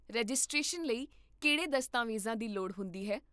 Registration ਲਈ ਕਿਹੜੇ ਦਸਤਾਵੇਜ਼ਾਂ ਦੀ ਲੋੜ ਹੁੰਦੀ ਹੈ?